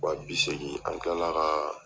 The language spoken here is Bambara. Wa bi segin an kila la ka